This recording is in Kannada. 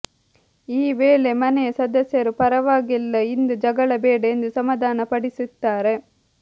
ಈ ವೇಳೆ ಮನೆಯ ಸದಸ್ಯರು ಪರವಾಗಿಲ್ಲ ಇಂದು ಜಗಳ ಬೇಡ ಎಂದು ಸಮಾಧಾನ ಪಡಿಸುತ್ತಾರೆ